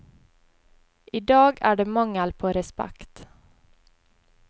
I dag er det mangel på respekt.